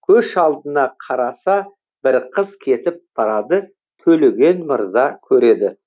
белестен түсіп желеді ойға түсіп келеді тағы айқасты бір көкше көш алдына қараса бір қыз кетіп барады төлеген мырза көреді